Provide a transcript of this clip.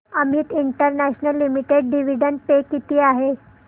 Amit international limited dividend pay किती आहे